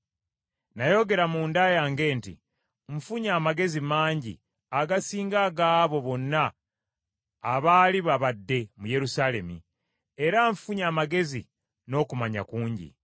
Nayogera munda yange nti, “Nfunye amagezi mangi agasinga ag’abo bonna abaali babadde mu Yerusaalemi, era nfunye amagezi n’okumanya kungi.”